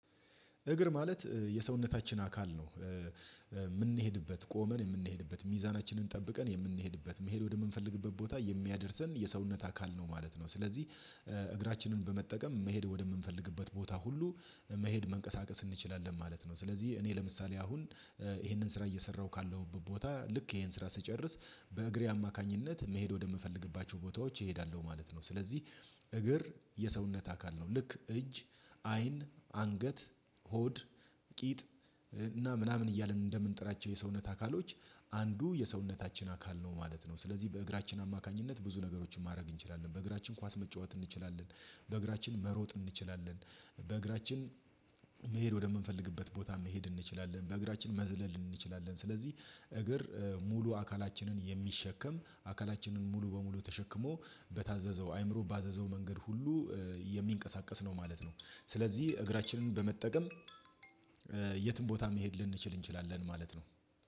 እግር ማለት የሰውነታችን አካል ነው የምንሄድበት ቆመን የምንሄድበት ሚዛናችንን ጠብቀን የምንሄድበት መሄድ ወደምንፈልግበት ቦታ የሚያደርሰን የሰውነት አካል ነው ማለት ነው። ስለዚህ እግራችንን በመጠቀም መሄድ ወደምንፈልግበት ቦታ ሁሉ መሄድ መንቀሳቀስ እንችላለን ማለት ነው። ስለዚህ እኔ ለምሳሌ አሁን ይሄንን ስራ እየሰራሁ ካለሁበት ቦታ ልክ ይሄን ስራ ስጨርስ በእግሬ አማካኝነት መሄድ ወደምፈልግባቸው ቦታዎች እሄዳለሁ ነው። ስለዚህ እግር የሰውነት አካል ነው ልክ እጅ አይን አንገት ሆድ ቂጥ እና ምናምን እያልን እንደምንጠራቸው የሰውነት አካሎች አንዱ የሰውነታችን አካል ነው ማለት ነው። ስለዚህ በእግራችን አማካኝነት ብዙ ነገሮችን ማድረግ እንችላለን በእግራችን ኳስ መጫወት እንችላለን። በእግራችን መሮጥ እንችላለን። በእግራችን መሄድ ወደምንፈልግበት ቦታ መሄድ እንችላለን በእግራችን መዝለል እንችላለን። ስለዚህ እግር ሙሉ አካላችንን የሚሸከም አካላችንን ሙሉ በሙሉ ተሸክሞ በታዘዘው አይምሮ ባዘዘው መንገድ ሁሉ የሚንቀሳቀስ ነው ማለት ነው። ስለዚህ እግራችንን በመጠቀም የትም ቦታ መሄድ ልንችል እንችላለን ማለት ነው።